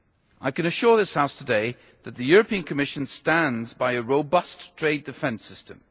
I can assure this House today that the European Commission stands by a robust trade defence system.